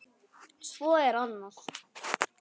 Svo er annað.